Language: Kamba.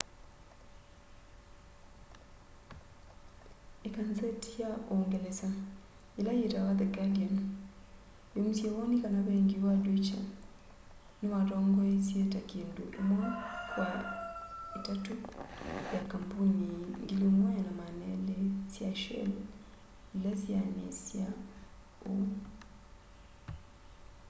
ikanzeti ya uungelesa ila yitawa the guardian yaumisye woni kana vengi wa deutsche niwatongoesya ta kindu imwe kwa itatu ya kambuni 1200 sya shell ila syeaniasya uu